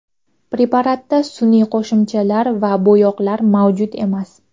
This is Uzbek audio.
Preparatda sun’iy qo‘shimchalar va bo‘yoqlar mavjud emas.